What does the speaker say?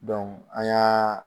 an y'aa